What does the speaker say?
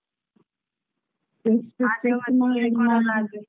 ಆ ಹೌದು ನಿಮ್ಮಲ್ಲಿ ಆ.